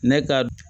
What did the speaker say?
Ne ka